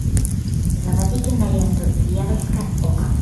заводи киноленту дьявольское око